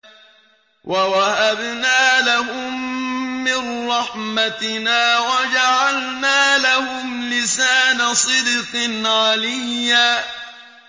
وَوَهَبْنَا لَهُم مِّن رَّحْمَتِنَا وَجَعَلْنَا لَهُمْ لِسَانَ صِدْقٍ عَلِيًّا